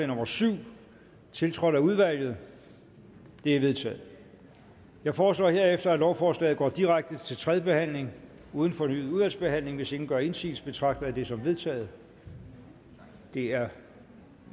nummer syv tiltrådt af udvalget det er vedtaget jeg foreslår herefter at lovforslaget går direkte til tredje behandling uden fornyet udvalgsbehandling hvis ingen gør indsigelse betragter jeg det som vedtaget det er